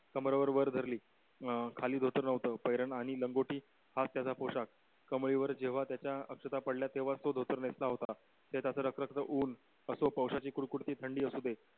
कमरावर वर धरली अं खाली धोतर नव्हतं वैरण आणि लंगोटी हाच त्याचा पोशाख कमळी वर जेव्हा त्याच्या अक्षदा पडल्या तेव्हाच तो धोतर नेसला होता ते त्याचं रखरख्त होऊन असो कशाची कुरकुरीत थंडी असू दे